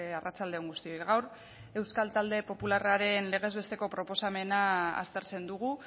arratsalde on guztioi gaur euskal talde popularraren legez besteko proposamena aztertzen dugu